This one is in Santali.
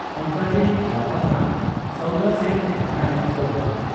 ᱚᱱᱠᱟᱨᱮ ᱞᱟᱵᱽ ᱟᱱᱟᱜ ᱥᱟᱶᱫᱟ ᱥᱮᱫ ᱟᱠᱟᱱᱟᱭ ᱥᱚᱨᱠᱟᱨ ᱾